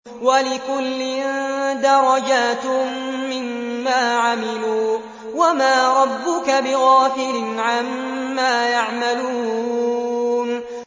وَلِكُلٍّ دَرَجَاتٌ مِّمَّا عَمِلُوا ۚ وَمَا رَبُّكَ بِغَافِلٍ عَمَّا يَعْمَلُونَ